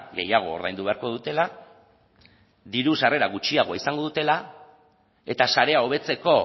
gehiago ordaindu beharko dutela diru sarrera gutxiago izango dutela eta sarea hobetzeko